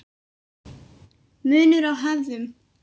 Munur á hefðum